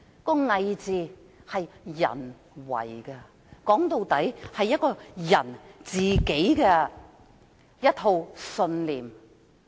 "偽"字是人為的，說到底，是關乎個人信念。